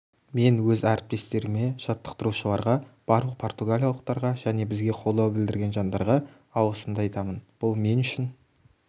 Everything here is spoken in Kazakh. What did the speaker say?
мен өз әріптестеріме жаттықтырушыларға барлық португалиялықтарға және бізге қолдау білдірген жандарға алғысымды айтамын бұл мен үшін